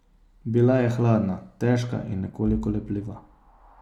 Bila je hladna, težka in nekoliko lepljiva.